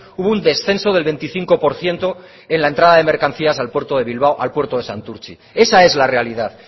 hubo un descenso del veinticinco por ciento en la entrada de mercancías al puerto de bilbao al puerto de santurtzi esa es la realidad